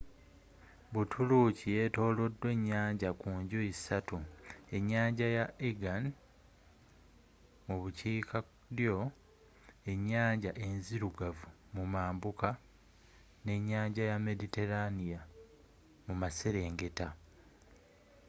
buturuuki yetolodwa ennyanja ku njuyi ssatu enyanja ya aegean mu bukiikaddyo ennyanja enzirugavu mu mambuka ne nnyanja ya mediterranea mu maserengeta